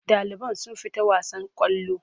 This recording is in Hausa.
Ɗaliban sun fita wasan ƙwallo.